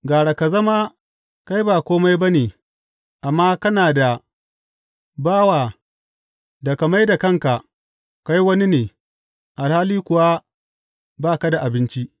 Gara ka zama kai ba kome ba ne amma kana da bawa da ka mai da kanka kai wani ne alhali kuwa ba ka da abinci.